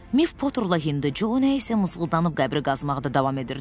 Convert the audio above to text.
Miff Poterlə Hindu Co nə isə mızıldanıb qəbri qazmaqda davam edirdilər.